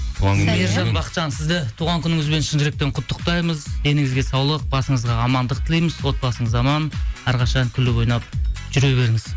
мейіржан бақытжан сізді туған күніңізбен шын жүректен құттықтаймыз деніңізге саулық басыңызға амандық тілейміз отбасыңыз аман әрқашан күліп ойнап жүре беріңіз